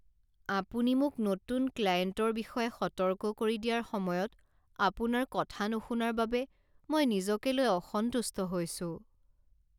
আপুনি মোক নতুন ক্লায়েণ্টৰ বিষয়ে সতৰ্ক কৰি দিয়াৰ সময়ত আপোনাৰ কথা নুশুনাৰ বাবে মই নিজকে লৈ অসন্তুষ্ট হৈছোঁ।